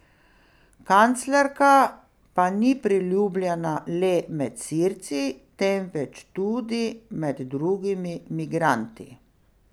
Kanclerka pa ni priljubljena le med Sirci, temveč tudi med drugim migranti.